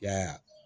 I y'a ye